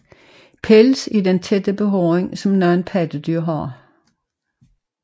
Pels er den tætte behåring som nogle pattedyr har